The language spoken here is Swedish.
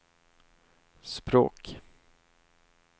språk